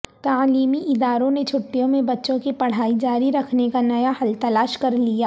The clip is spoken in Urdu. تعلیمی اداروں نے چھٹیوں میں بچوں کی پڑھائی جاری رکھنے کا نیا حل تلاش کرلیا